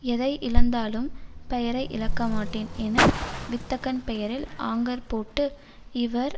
எதை இழந்தாலும் பெயரை இழக்கமாட்டேன் என வித்தகன் பெயரில் ஆங்கர் போட்டு இவர்